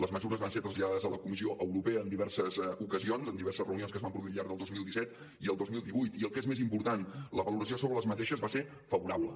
les mesures van ser traslladades a la comissió europea en diverses ocasions en diverses reunions que es van produir al llarg del dos mil disset i el dos mil divuit i el que és més important la valoració sobre les mesures va ser favorable